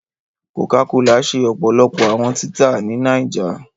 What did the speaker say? Cocacola ṣe ọpọlọpọ awọn tita ni Niger